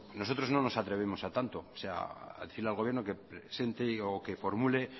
nosotros no nos atrevemos a tanto a decirle al gobierno que presente o que formule